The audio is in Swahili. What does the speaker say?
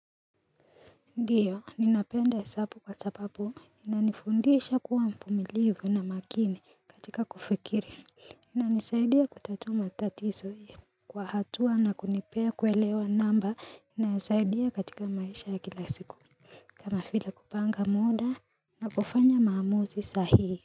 Ndiyo ninapenda hesabu kwasababu inanifundisha kuwa mfumilivu na makini katika kufikiri inanisaidia kutatua matatizo Kwa hatua na kunipea kuelewa namba inasaidia katika maisha ya kila siku kama vile kupanga muda na kufanya maamuzi sahii.